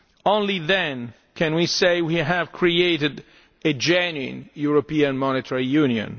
unions only then can we say we have created a genuine European Monetary